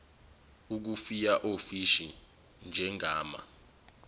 ukufuya ofishi njengama